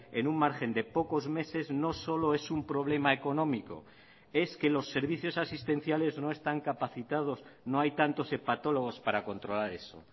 en un margen de pocos meses no solo es un problema económico es que los servicios asistenciales no están capacitados no hay tantos hepatólogos para controlar eso